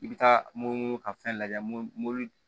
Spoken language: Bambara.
I bɛ taa munumunu ka fɛn lajɛ mun